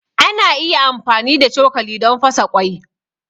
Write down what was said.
Ana iya amfani da cokali don fasa ƙwai.